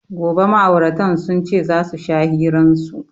Gobe ma'auratan sun ce za su sha hiran su.